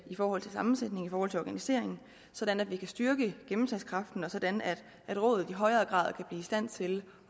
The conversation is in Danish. i forhold til sammensætningen og i forhold til organiseringen sådan at vi kan styrke gennemslagskraften og sådan at rådet i højere grad blive i stand til